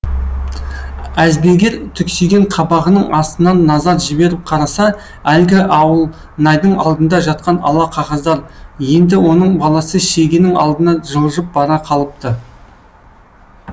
әзберген түксиген қабағының астынан назар жіберіп қараса әлгі ауылнайдың алдында жатқан ала қағаздар еңді оның баласы шегенің алдына жылжып барып қалыпты